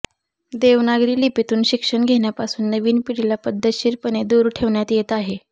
देवनागरी लिपीतून शिक्षण घेण्यापासून नवीन पिढीला पद्धतशीरपणे दूर ठेवण्यात येत आहे